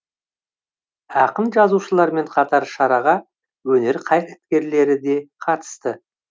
ақын жазушылармен қатар шараға өнер қайраткерлері де қатысты